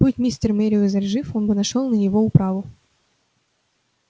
будь мистер мерриуэзер жив он бы нашёл на него управу